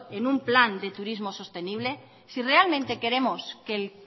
en un plan de turismo sostenible si realmente queremos que el